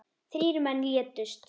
Þrír menn létust.